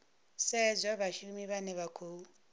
sedzwa vhashumi vhane vha khou